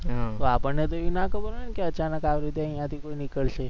તો આપણ ને એવુ ના ખબર હોય ને કે અચાનક જ આવી રિતે અહીયા થી કોઈ નીકળશે